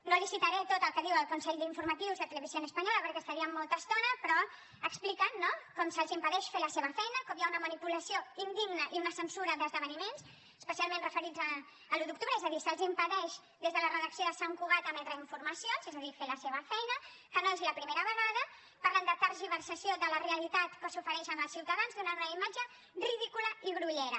no li citaré tot el que diu el consell d’informatius de televisión española perquè hi estaríem molta estona però expliquen no com se’ls impedeix fer la seva feina com hi ha una manipulació indigna i una censura d’esdeveniments especialment referits a l’un d’octubre és a dir se’ls impedeix des de la redacció de sant cugat emetre informacions és a dir fer la seva feina que no és la primera vegada parlen de tergiversació de la realitat que s’ofereix als ciutadans donant una imatge ridícula i grollera